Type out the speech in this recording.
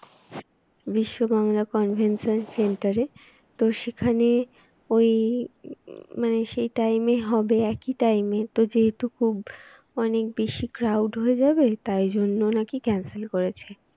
বিশ্ব Bangla convention centre এ তো সেখানে ওই মানে সেই time এ হবে একই টাইমে তো যেহেতু খুব অনেক বেশি crowd হয়ে যাবে তাই জন্য নাকি cancel করেছে